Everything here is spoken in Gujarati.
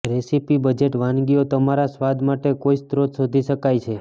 રેસિપિ બજેટ વાનગીઓ તમારા સ્વાદ માટે કોઇ સ્ત્રોત શોધી શકાય છે